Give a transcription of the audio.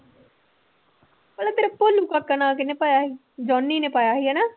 ਤੈਨੂੰ ਕਾਕਾ ਨਾਂ ਕਿਹਨੇ ਪਾਇਆ ਸੀ, ਜੋਹਨੀ ਨੇ ਪਾਇਆ ਸੀ ਹਨਾ।